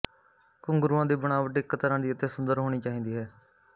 ਘੁੰਘਰੂਆਂ ਦੀ ਬਣਾਵਟ ਇੱਕ ਤਰ੍ਹਾਂ ਦੀ ਅਤੇ ਸੁੰਦਰ ਹੋਣੀ ਚਾਹੀਦੀ ਹੈ